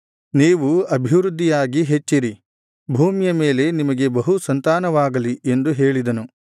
ನೀವು ಅಭಿವೃದ್ಧಿಯಾಗಿ ಹೆಚ್ಚಿರಿ ಭೂಮಿಯ ಮೇಲೆ ನಿಮಗೆ ಬಹುಸಂತಾನವಾಗಲಿ ಎಂದು ಹೇಳಿದನು